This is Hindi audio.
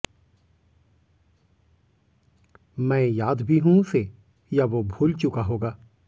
मैं याद भी हूं उसे या वो भूल चुका होगा